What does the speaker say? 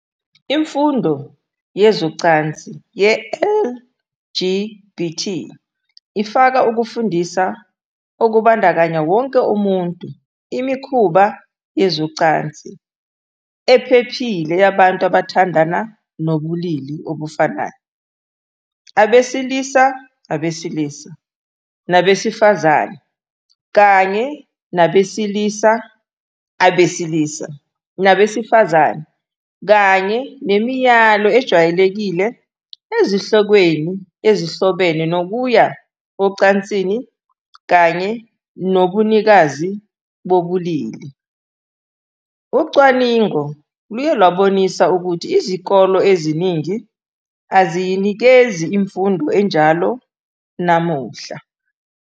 Imfundo yezocansi ye-LGBT ifaka ukufundisa okubandakanya wonke umuntu imikhuba yezocansi ephephile yabantu abathandana nabobulili obufanayo, abesilisa abesilisa nabesifazane, kanye nabesilisa abesilisa nabesifazane kanye nemiyalo ejwayelekile ezihlokweni ezihlobene nokuya ocansini kanye nobunikazi bobulili. Ucwaningo luye lwabonisa ukuthi izikole eziningi aziyinikezi imfundo enjalo namuhla.